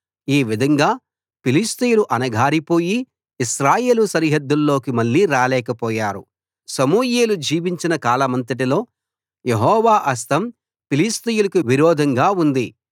ఈ విధంగా ఫిలిష్తీయులు అణగారిపోయి ఇశ్రాయేలు సరిహద్దుల్లోకి మళ్ళీ రాలేకపోయారు సమూయేలు జీవించిన కాలమంతటిలో యెహోవా హస్తం ఫిలిష్తీయులకి విరోధంగా ఉంది